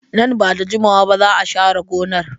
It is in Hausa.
Nan ba da jimawa ba za a share gonar.